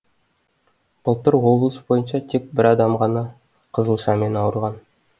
былтыр облыс бойынша тек бір адам ғана қызылшамен ауырған